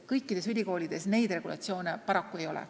Kõikides ülikoolides niisugust regulatsiooni paraku ei ole.